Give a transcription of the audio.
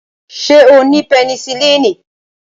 Ṣé ó ni pẹnisilini?